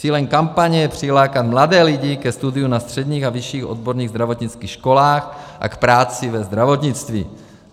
Cílem kampaně je přilákat mladé lidi ke studiu na středních a vyšších odborných zdravotnických školách a k práci ve zdravotnictví.